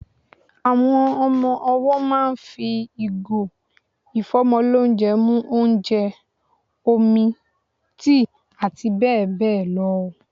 Ọmọ owọ́ máà ń fi ìgò ìfọ́mọlónjẹ mu ónjẹ, omi, tíì àti bẹ́ẹ̀ bẹ́ẹ̀ lọ.